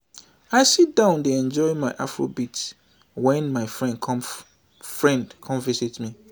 i sit down dey enjoy my afrobeat wen my friend come friend come visit me